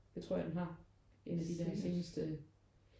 Det tror jeg den har en af de der seneste